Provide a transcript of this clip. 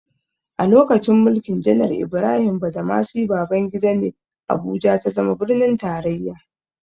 A lokacin mulkin janar Ibrahim Badamasi Babangida ne, Abuja ta zama birnin tarraya.